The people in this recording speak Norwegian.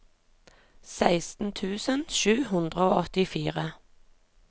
seksten tusen sju hundre og åttifire